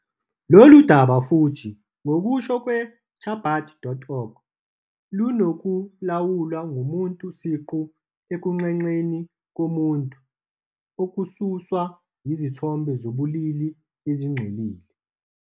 Lolu daba futhi, ngokusho kwe-Chabad.org, lunokulawulwa komuntu siqu ekunxenxeni komuntu, okususwa yizithombe zobulili ezingcolile.